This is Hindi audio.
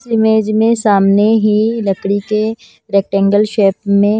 इस इमेज में सामने ही लकड़ी के रैक्टेंगल शेप में--